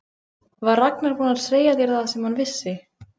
Var Ragnar búinn að segja þér það sem hann vissi?